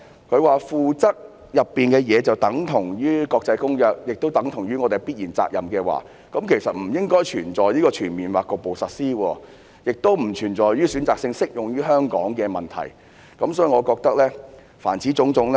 局長指附則的內容等同於《公約》，亦等同於我們的必然責任，這樣的話，那便"全面或局部實施"這句便不應存在，《公約》條文選擇性適用於香港的問題亦不應存在。